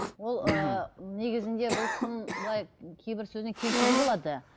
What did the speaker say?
ол ыыы мхм негізінде бұл кісінің былай кейбір сөзіне келісуге болады